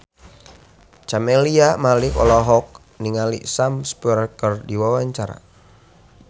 Camelia Malik olohok ningali Sam Spruell keur diwawancara